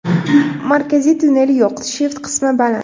Markaziy tunnel yo‘q, shift qismi baland.